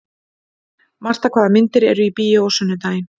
Marta, hvaða myndir eru í bíó á sunnudaginn?